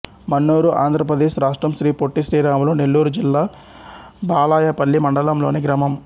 మన్నూరు ఆంధ్ర ప్రదేశ్ రాష్ట్రం శ్రీ పొట్టి శ్రీరాములు నెల్లూరు జిల్లా బాలాయపల్లి మండలంలోని గ్రామం